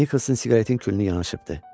Nikolson siqaretin külünü yanaşıbdı.